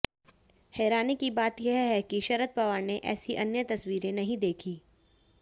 हैरानी की बात यह है कि शरद पवार ने ऐसी अन्य तस्वीरें नहीं देखीं